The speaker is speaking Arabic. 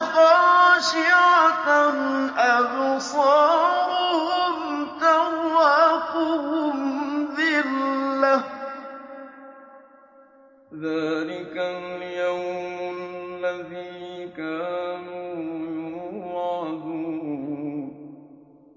خَاشِعَةً أَبْصَارُهُمْ تَرْهَقُهُمْ ذِلَّةٌ ۚ ذَٰلِكَ الْيَوْمُ الَّذِي كَانُوا يُوعَدُونَ